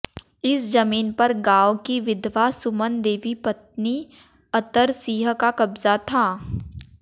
इस जमीन पर गांव की विधवा सुमन देवी पत्नी अतर सिंह का कब्जा था